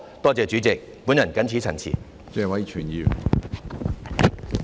多謝主席，我謹此陳辭。